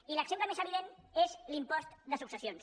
i l’exemple més evident és l’impost de successions